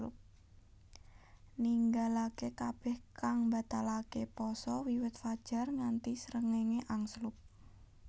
Ninggalaké kabèh kang mbatalaké paasa wiwit fajar nganti srengéngé angslup